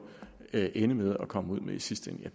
ende med at komme ud med i sidste